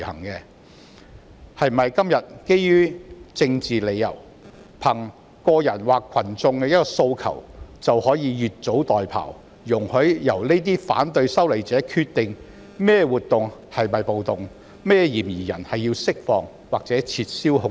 今天基於政治理由，憑個人或群眾的一個訴求，是否就可以越俎代庖，容許由反對修例者決定某些活動屬於"暴動"、某些嫌疑人須獲釋放或撤銷控罪？